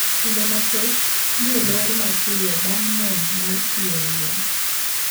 Skunde mathoth nyo olor mapiyo bang` monj mar pi oula